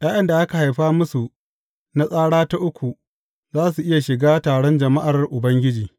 ’Ya’yan da aka haifa musu na tsara ta uku za su iya shiga taron jama’ar Ubangiji.